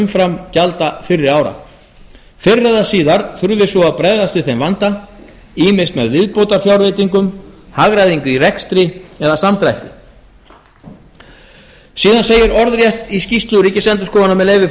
umframgjalda fyrri ára fyrr eða síðar þurfi svo að bregðast við þeim vanda ýmist með viðbótarfjárveitingum hagræðingu í rekstri eða samdrætti síðan segir orðrétt í skýrslu ríkisendurskoðunar með leyfi